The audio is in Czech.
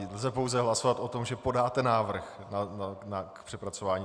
Lze pouze hlasovat o tom, že podáte návrh na přepracování.